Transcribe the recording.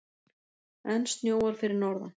Enn snjóar fyrir norðan